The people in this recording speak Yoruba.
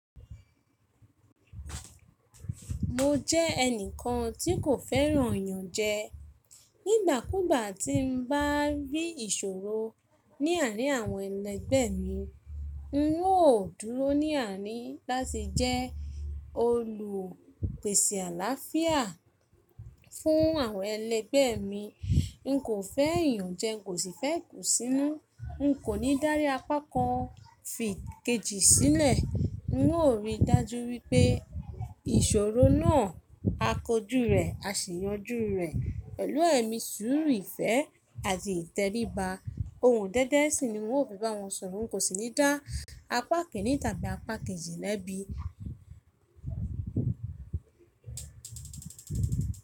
Mo jẹ́ ẹnìkan tí kò fẹ́ràn iyànjẹ. Nígbà kúgbà tí n bá rí ìṣòro ní àárín àwọn ẹlẹgbẹ́ mi, n óò dúró ní àní láti jẹ́ olùpèsè àlàáfíà fún àwọn ẹlẹgbẹ́ mi. N kò fẹ́ iyanjẹ, n kò sì fẹ́ ìkùnsínú. N kò ní dárí apá kan fi ikejì sílẹ̀. N óò rí i dájú wípé ìṣòro náà a kojú rẹ̀, a sì yanjú rẹ̀ pẹ̀lú ẹ̀mí súùrù ìfẹ́ àti ìtẹríba. Ohùn dẹ́dẹ́ sì ni n óò fi bá wọn sọ̀rọ̀, n kò sì ní dá apá kini tàbí apá kejì lẹ́bi.